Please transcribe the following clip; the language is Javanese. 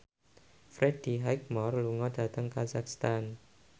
Freddie Highmore lunga dhateng kazakhstan